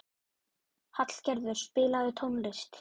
Hallgerður, spilaðu tónlist.